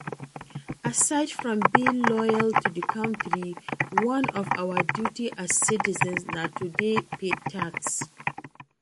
Aside from being loyal to di country, one of our duty as citizens na to dey pay tax